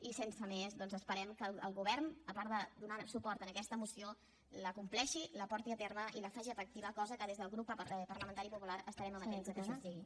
i sense més doncs esperem que el govern a part de donar suport en aquesta moció la compleixi la porti a terme i la faci efectiva cosa que des del grup parlamentari popular estarem amatents que així sigui